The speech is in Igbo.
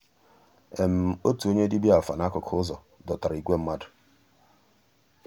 ótú ónyé dìbíá àfà n'àkụ́kụ́ ụ́zọ̀ dòtárà ígwè mmàdú.